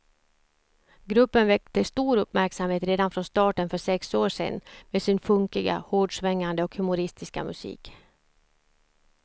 Gruppen väckte stor uppmärksamhet redan från starten för sex år sedan med sin funkiga, hårdsvängande och humoristiska musik.